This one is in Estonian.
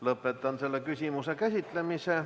Lõpetan selle küsimuse käsitlemise.